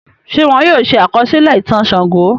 Ṣé wọ́n yóò ṣe àkọsílẹ̀ ìtàn Ṣàngó?